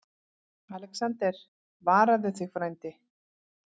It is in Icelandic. ALEXANDER: Varaðu þig, frændi.